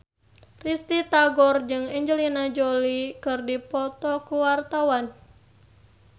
Risty Tagor jeung Angelina Jolie keur dipoto ku wartawan